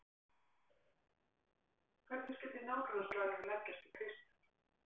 Hvernig skyldi nágrannaslagurinn leggjast í Kristján?